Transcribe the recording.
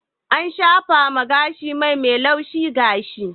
ana shafawa gashi mai na laushin gashi